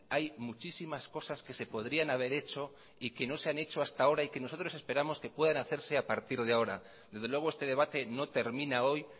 hay muchísimas cosas que se podrían haber hecho y que no se han hecho hasta ahora y que nosotros esperamos que puedan hacerse a partir de ahora desde luego este debate no termina hoy